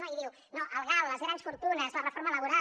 no i diu no el gal les grans fortunes la reforma laboral